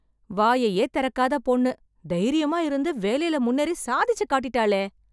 வாயையே திறக்காத பொண்ணு, தைரியமா இருந்து, வேலைல முன்னேறி சாதிச்சு காட்டிட்டாளே...